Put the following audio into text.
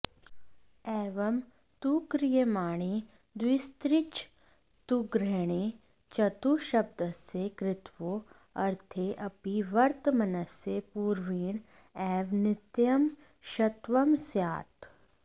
एवं तु क्रियमाणे द्विस्त्रिश्चतुर्ग्रहणे चतुःशब्दस्य कृत्वो ऽर्थे ऽपि वर्तमनस्य पूर्वेण एव नित्यं षत्वं स्यात्